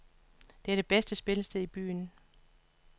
Det er det bedste spillested i byen.